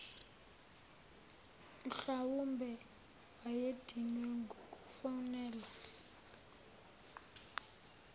mhlwawumbe wayedinwe ngukufonelwa